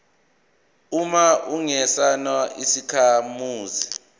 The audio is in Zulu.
uma ungesona isakhamuzi